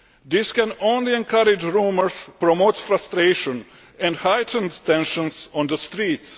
This can only encourage rumours and promote frustration and heightened tensions on the streets.